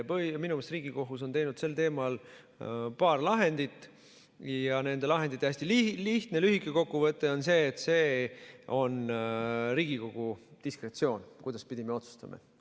Minu meelest on Riigikohus teinud sel teemal paar lahendit ja nende lahendite hästi lihtne ja lühike kokkuvõte on see, et see on Riigikogu diskretsioon, kuidaspidi me otsustame.